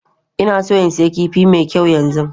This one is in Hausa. Ina so in sayi kifi mai kyau yanzu.